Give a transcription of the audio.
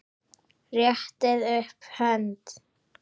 Réttið upp hönd.